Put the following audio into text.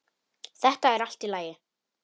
Þetta er allt í lagi.